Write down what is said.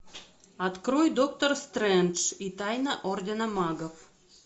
открой доктор стрэндж и тайна ордена магов